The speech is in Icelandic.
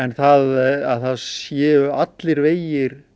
það séu allir vegir